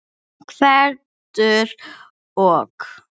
Gvendur og